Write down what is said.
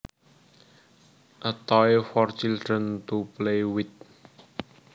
A toy for children to play with